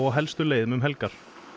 helstu leiðum um helgar